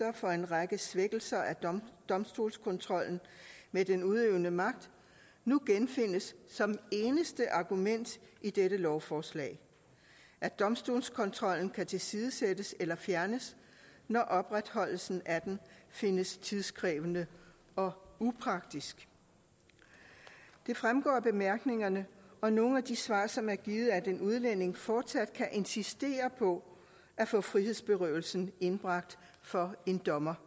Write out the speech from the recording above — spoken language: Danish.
for en række svækkelser af domstolskontrollen med den udøvende magt nu genfindes som eneste argument i dette lovforslag at domstolskontrollen kan tilsidesættes eller fjernes når opretholdelsen af den findes tidskrævende og upraktisk det fremgår af bemærkningerne og nogle af de svar som er givet at en udlænding fortsat kan insistere på at få frihedsberøvelsen indbragt for en dommer